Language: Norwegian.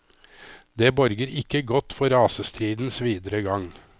Det borger ikke godt for rasestridens videre gang.